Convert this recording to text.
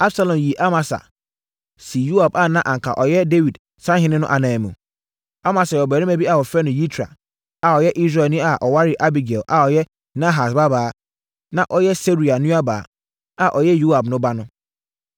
Absalom yii Amasa de no tuaa akodɔm no ano, sii Yoab a na anka ɔyɛ Dawid sahene no ananmu. Amasa yɛ ɔbarima bi a wɔfrɛ no Yitra, a ɔyɛ Israelni a ɔwaree Abigail a ɔyɛ Nahas babaa, na ɔyɛ Seruia nuabaa, a ɔyɛ Yoab na no ba.